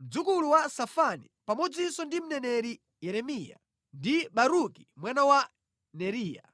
mdzukulu wa Safani pamodzinso ndi mneneri Yeremiya ndi Baruki mwana wa Neriya.